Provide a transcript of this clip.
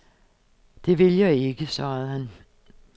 Det vil jeg ikke, svarede han.